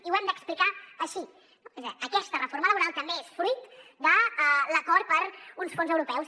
i ho hem d’explicar així aquesta reforma laboral també és fruit de l’acord per uns fons europeus